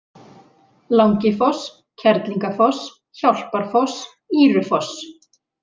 Langifoss, Kerlingafoss, Hjálparfoss, Ýrufoss